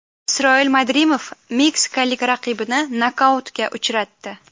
Isroil Madrimov meksikalik raqibini nokautga uchratdi.